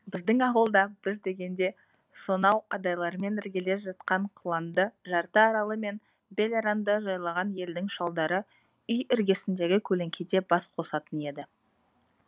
біздің ауылда біз дегенде сонау адайлармен іргелес жатқан құланды жарты аралы мен бел аранды жайлаған елдің шалдары үй іргесіндегі көлеңкеде бас қосатын еді